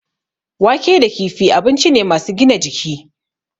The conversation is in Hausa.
Wake da kifi abinci ne masu gina jiki.